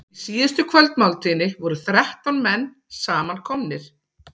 Í síðustu kvöldmáltíðinni voru þrettán menn samankomnir.